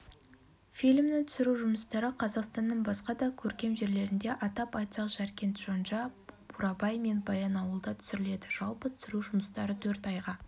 фильмнің түсіру жұмыстары қазақстанның басқа да көркем жерлерінде атап айтсақ жаркент шонжа бурабай мен баянауылда түсіріледі жалпы түсіру жұмыстары төрт айға